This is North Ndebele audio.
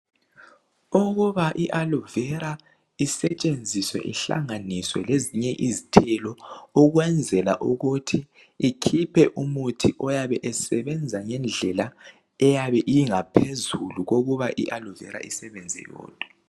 Ukuba i"aloe vera" isetshenziswe ihlanganiswe lezinye izithelo ukwenzela ukuthi ikhiphe umuthi oyabe usebenza ngendlela eyabe ingaphezulu kokuba i"aloe vera" isebenze yodwa.